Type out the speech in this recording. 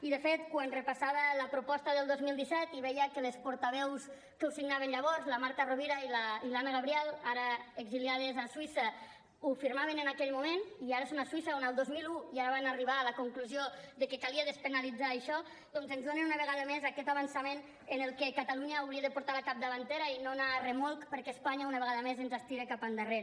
i de fet quan repassava la proposta del dos mil disset veia que les portaveus que ho signaven llavors la marta rovira i l’anna gabriel ara exiliades a suïssa ho firmaven en aquell moment i ara són a suïssa on el dos mil un ja van arribar a la conclusió de que calia despenalitzar això doncs ens donen una vegada més aquest avançament en el que catalunya hauria de portar la capdavantera i no anar a remolc perquè espanya una vegada més ens estira cap endarrere